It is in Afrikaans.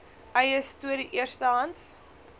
eie storie eerstehands